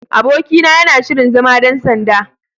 Abokina yana shirin zama ɗan sanda.